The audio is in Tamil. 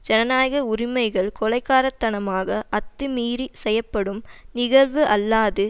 ஜனநாயக உரிமைகள் கொலைகாரத்தனமாக அத்துமீறி செய்யப்படும் நிகழ்வு அல்லாது